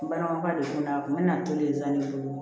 N balimakɛ de bɛ na a kun bɛ na to de san ne bolo